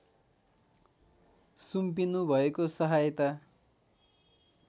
सुम्पिनु भएको सहायता